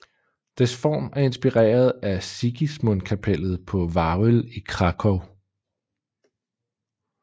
Dets form er inspireret af Sigismundkapellet på Wawel i Kraków